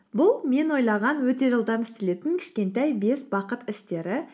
бұл мен ойлаған өте жылдам істелетін кішкентай бес бақыт істері